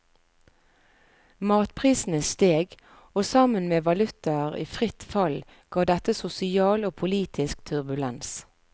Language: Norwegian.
Matprisene steg, og sammen med valutaer i fritt fall ga dette sosial og politisk turbulens.